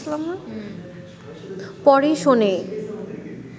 পরে শোনে